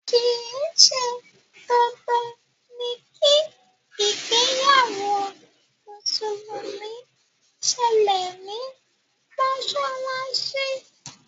kìí ṣe dandan ni kí ìgbéyàwó mùsùlùmí sẹlẹ̀ ní mọ́sálásí